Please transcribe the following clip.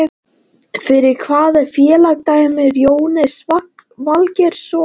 Fyrir hvaða félag dæmir Jóhannes Valgeirsson?